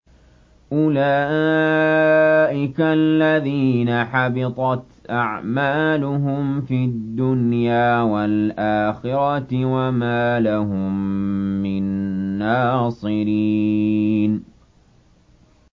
أُولَٰئِكَ الَّذِينَ حَبِطَتْ أَعْمَالُهُمْ فِي الدُّنْيَا وَالْآخِرَةِ وَمَا لَهُم مِّن نَّاصِرِينَ